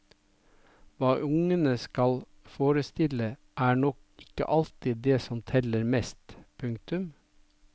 Hva ungene skal forestille er nok ikke alltid det som teller mest. punktum